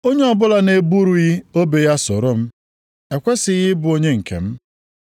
Onye ọbụla na-eburughị obe ya soro m, ekwesighị ị bụ onye nke m.